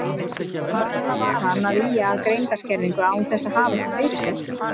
Varla var hann að ýja að greindarskerðingu án þess að hafa eitthvað fyrir sér.